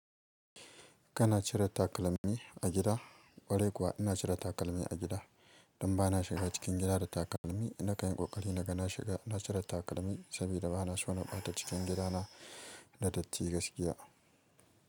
Kana cire takalmi a gida? Kwarai kuwa ina cire takalmi a gida, don ba na shiga cikin gida da takalmi. Na kanyi kokari na ga na shiga, na cire takalmi saboda ba na so na ɓata cikin gidana da datti gaskiya.